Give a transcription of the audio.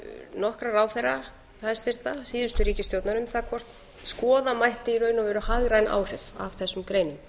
nokkra ráðherra hæstvirtrar síðustu ríkisstjórnar um það hvort skoða mætti í raun og veru hagræn áhrif af þessum greinum